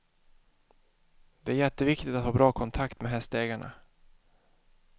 Det är jätteviktigt att ha bra kontakt med hästägarna.